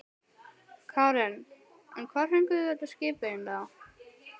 Karen: En hvar fenguð þið þetta skip eiginlega?